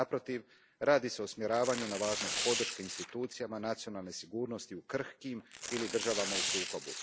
Naprotiv, radi se o usmjeravanju na važnost podrške institucijama nacionalne sigurnosti u krhkim državama ili državama u sukobu.